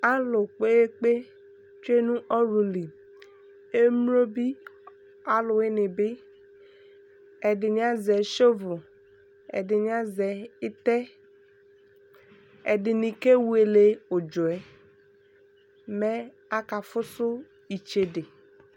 Alʋ kpekpe tsue nʋ ɔwlʋ li Emlo bi, alʋwini bi, ɛdini azɛ sɔvʋl, ɛdini azɛ itɛ, ɛdini kewele ʋdzɔ ɛ, mɛ akafʋsʋ itsɛde